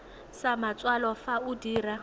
sa matsalo fa o dira